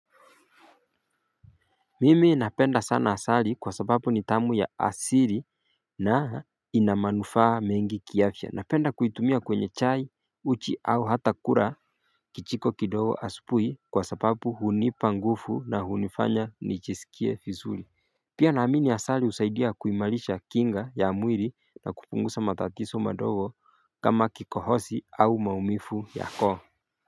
Mimi napenda sana asali kwa sababu ni tamu ya asili na ina manufaa mengi kiafya napenda kuitumia kwenye chai uchi au hata kura kichiko kidogo asupuhi kwa sababu hunipangufu na unifanya nichisikie fizuli Pia naamini asali usaidia kuimalisha kinga ya mwiri na kupungusa matatiso madogo kama kikohosi au maumifu ya koo.